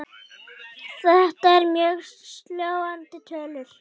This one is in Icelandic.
Þetta eru mjög sláandi tölur.